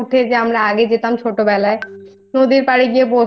হ্যাঁ গেছে আর সকালবেলা উঠে যে আমরা যে আগে যেতাম